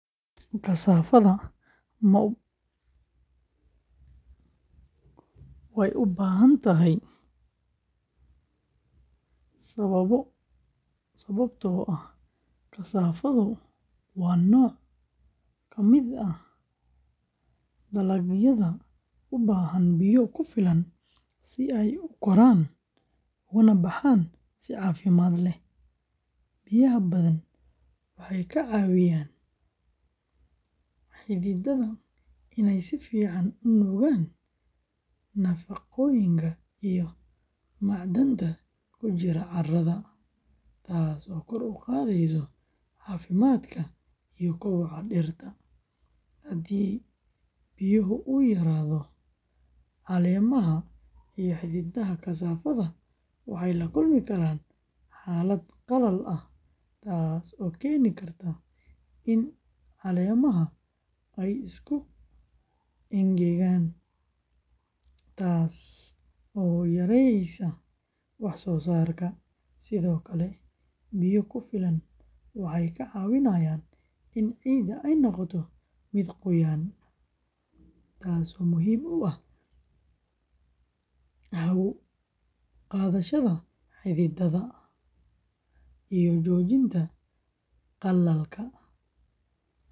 Jawaabtu waa haa, sababtoo ah kasaafadu waa nooc ka mid ah dalagyada u baahan biyo ku filan si ay u koraan ugana baxaan si caafimaad leh. Biyaha badan waxay ka caawiyaan xididdada inay si fiican u nuugaan nafaqooyinka iyo macdanta ku jira carrada, taasoo kor u qaadaysa caafimaadka iyo koboca dhirta. Haddii biyo yaraado, caleemaha iyo xididdada kasaafada waxay la kulmi karaan xaalad qallal ah taasoo keeni karta in caleemaha ay isku engegaan, taasoo yareysa wax soo saarka. Sidoo kale, biyo ku filan waxay kaa caawinayaan in ciidda ay noqoto mid qoyan, taas oo muhiim u ah hawo-qaadashada xididdada iyo joojinta qallalka.